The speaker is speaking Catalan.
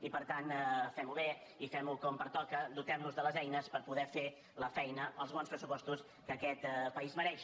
i per tant fem·ho bé i fem·ho com pertoca dotem·nos de les eines per po·der fer la feina els bons pressupostos que aquest país mereix